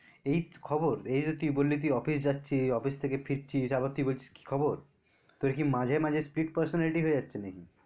এই খবর, এই তো তুই বললি তুই অফিস যাচ্ছি অফিস থেকে ফিরছিস আবার তুই বলছিস কি খবর, তো কী মাঝে মাঝে speed personality হয়ে যাচ্ছে নাকি?